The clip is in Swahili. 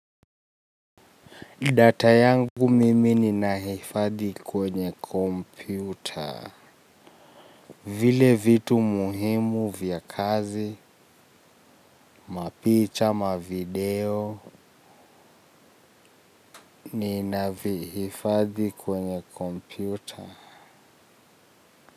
Data yangu mimi nina hifadhi kwenye kompyuta. Vile vitu muhimu vya kazi, mapicha, mavideo, ni naifadhi kwenye kompyuta.